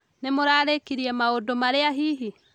Nĩ mũrarĩkirie maũndũmarĩa hihi?